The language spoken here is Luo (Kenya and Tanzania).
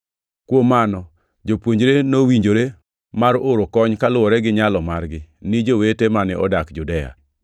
Kuom mano, jopuonjre nowinjore mar oro kony kaluwore gi nyalo margi, ni jowete mane odak Judea.